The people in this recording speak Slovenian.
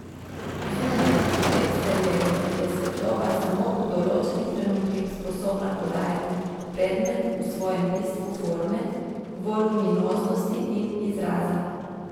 Zunaj, v eksterierju, je svetloba samo v določenih trenutkih sposobna podajati predmet v svojem bistvu forme, voluminoznosti in izraza.